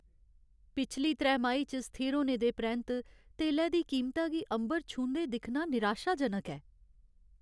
पिछली त्रैमाही च स्थिर होने दे परैंत्त तेलै दी कीमता गी अंबर छूंह्दे दिक्खना निराशाजनक ऐ।